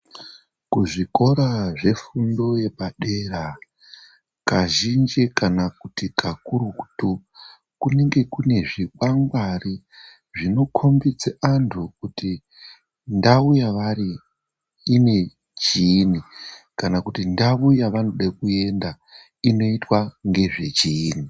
Kuzvikora zvefundo yepadera, kazhinji kana kuti kakurutu kunenge kune zvikwangwari, zvinokhombidze antu kuti ndau yevari ine chiini, kana kuti ndau yevanode kuenda inoitwa ngezvechiini.